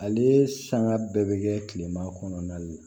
Ale sanga bɛɛ bɛ kɛ kilema kɔnɔna de la